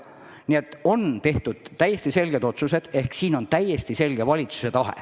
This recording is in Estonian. Nii et on tehtud täiesti selged otsused, selle taga on täiesti selge valitsuse tahe.